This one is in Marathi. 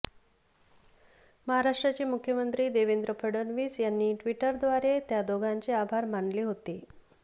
महाराष्ट्राचे मुख्यमंत्री देवेंद्र फडणवीस यांनी ट्विटरद्वारे त्या दोघांचे आभार मानले होते